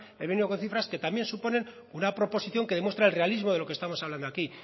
he venido con cifras que también supone una proposición que demuestra el realismo de lo que estamos hablando aquí